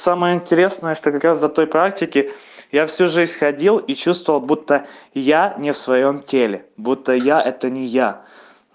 самое интересное что как раз за той практики я всю жизнь ходил и чувствовал будто я не в своём теле будто я это не я